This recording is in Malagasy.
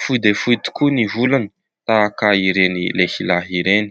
Fohy dia fohy tokoa ny volony, tahaka ireny lehilahy ireny.